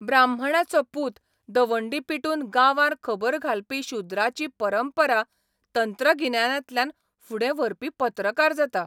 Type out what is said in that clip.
ब्राह्मणाचो पूत दवंडी पिटून गांवांर खबर घालपी शुद्राची परंपरा तंत्रगिन्यानांतल्यान फुडें व्हरपी पत्रकार जाता.